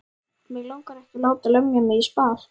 Mig langar ekki að láta lemja mig í spað.